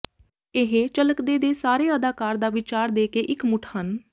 ਇਹ ਝਲਕਦੇ ਦੇ ਸਾਰੇ ਅਦਾਕਾਰ ਦਾ ਵਿਚਾਰ ਦੇ ਕੇ ਇਕਮੁੱਠ ਹਨ